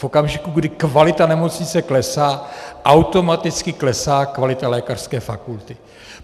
V okamžiku, kdy kvalita nemocnice klesá, automaticky klesá kvalita lékařské fakulty.